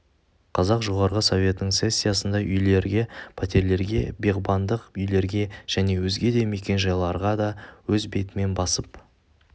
қазақ жоғарғы советінің сессиясында үйлерге пәтерлерге бағбандық үйлерге және өзге де мекенжайларға да өз бетімен басып